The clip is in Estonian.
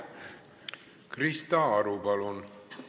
Krista Aru, palun!